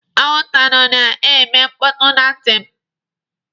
Anwụnta nọ na-eme mkpọtụ na ntị m.